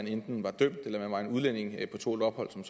enten er dømt eller er mange udlændinge på tålt ophold som